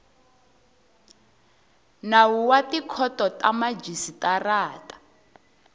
nawu wa tikhoto ta vamajisitarata